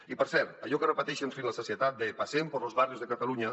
i per cert allò que repeteixen fins la sacietat de paseen por los barrios de cataluña